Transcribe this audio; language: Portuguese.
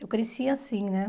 Eu cresci assim, né?